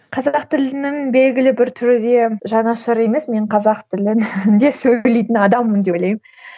қазақ тілінің белгілі бір түрі де жанашыры емес мен қазақ тілінде сөйлейтін адаммын деп ойлаймын